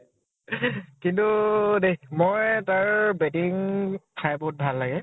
কিন্তু দেই । মই তাৰ batting চাই বহুত ভাল লাগে